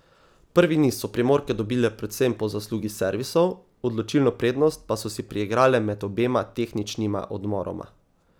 Prvi niz so Primorke dobile predvsem po zaslugi servisov, odločilno prednost pa so si priigrale med obema tehničnima odmoroma.